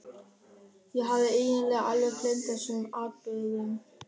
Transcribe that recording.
Ég hafði eiginlega alveg gleymt þessum atburðum.